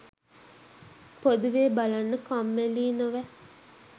පොදුවේ බලන්න කම්මැලියි නොවැ